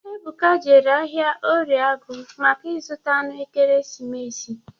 Ebuka jere ahịa orie agụ maka ịzụta anụ ekeresimesi.